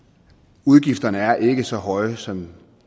udgifterne er ikke så høje som